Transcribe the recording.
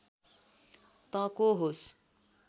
तँ को होस्